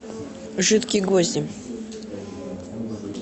жидкие гвозди